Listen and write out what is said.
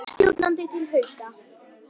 Leikstjórnandi til Hauka